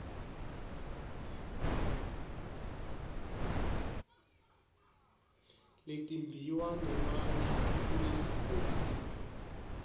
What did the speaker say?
letimbiwa nemandla kulesigodzi